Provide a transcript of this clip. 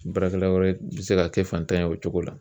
Baarakɛla wɛrɛ bɛ se ka kɛ fantan ye o cogo la